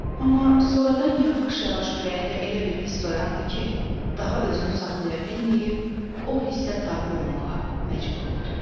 Amma sonradan yavaş-yavaş ürəyində elə bir hiss oyandı ki, daha özünü saxlaya bilməyib, o hissə tabe olmağa məcbur oldu.